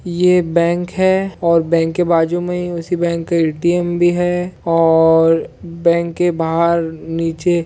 ये बैंक हैं और बैंक के बाजू मे उसी बैंक का ए टी एम भी हैं और बैंक के बाहर नीचे--